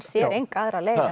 sér enga aðra leið